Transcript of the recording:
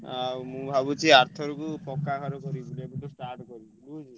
ଆଉ ମୁଁ ଭାବୁଚି ଆରଥରକୁ ପକ୍କା ଘର କରିବି ବୁଝିଲୁ।